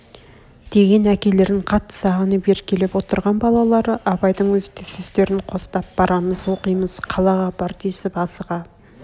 деген әкелерін қатты сағынып еркелеп отырған балалары абайдың сөздерін қостап барамыз оқимыз қалаға апар десіп асыға